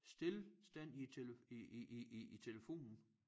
Stilstand i æ tele i i i i telefonen